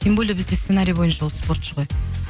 тем более бізде сценарий бойынша ол спортшы ғой